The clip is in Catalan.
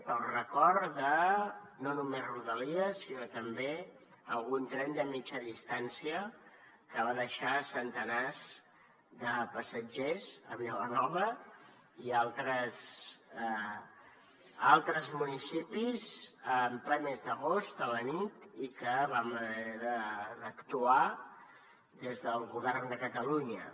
o es recorda no només rodalies sinó també algun tren de mitjana distància que va deixar centenars de passatgers a vilanova i a altres municipis en ple mes d’agost a la nit i que vam haver d’actuar des del govern de catalunya